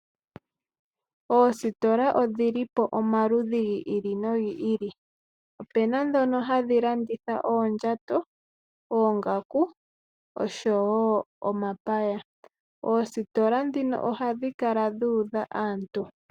Oositola odhili po omaludhi gi ili nogi ili. Opuna ndhono hadhi landitha oondjato, oongaku, osho wo omapaya. Oositola dhino ohadhi kala dhu udha aantu.